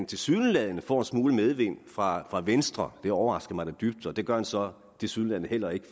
tilsyneladende får en smule medvind fra fra venstre overrasker mig da dybt det gør han så tilsyneladende heller ikke